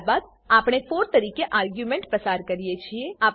ત્યારબાદ આપણે 4 તરીકે આર્ગ્યુંમેંટ પસાર કરીએ છીએ